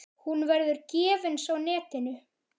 Hún verður gefins á netinu.